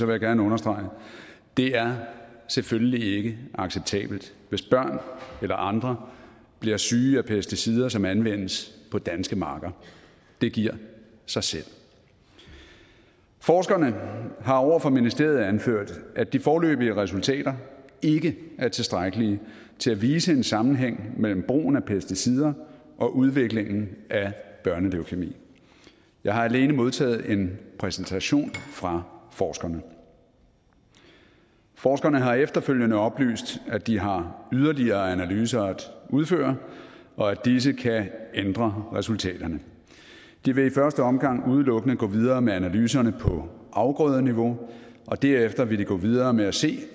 jeg gerne understrege det er selvfølgelig ikke acceptabelt hvis børn eller andre bliver syge af pesticider som anvendes på danske marker det giver sig selv forskerne har over for ministeriet anført at de foreløbige resultater ikke er tilstrækkelige til at vise en sammenhæng mellem brugen af pesticider og udviklingen af børneleukæmi jeg har alene modtaget en præsentation fra forskerne forskerne har efterfølgende oplyst at de har yderligere analyser at udføre og at disse kan ændre resultaterne de vil i første omgang udelukkende gå videre med analyserne på afgrødeniveau og derefter vil de gå videre med at se